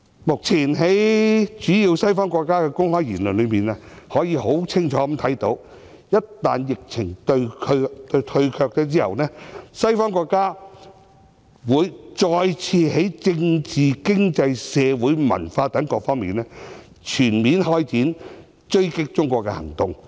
目前，在主要西方的公開言論中，可以清楚看到，一旦疫情退卻，西方國家會再次在政治、經濟、社會、文化等各方面，全面開展追擊中國的行動。